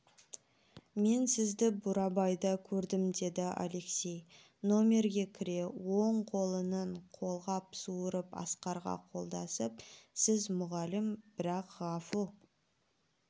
мен сізді бурабайда көрдім деді алексей нөмерге кіре оң қолының қолғап суырып асқарға қолдасып сіз мұғалім бірақ ғафу